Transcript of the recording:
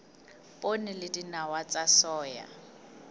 poone le dinawa tsa soya